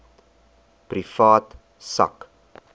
privaat sak